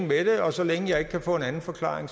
med det og så længe jeg ikke kan få en anden forklaring